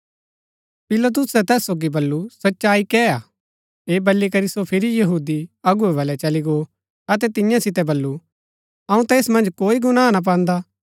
पिलातुसै तैस सोगी बल्लू सच्चाई कै हा ऐह बली करी सो फिरी यहूदी अगुवै बलै चली गो अतै तियां सितै बल्लू अऊँ ता ऐस मन्ज कोई गुनाह ना पान्दा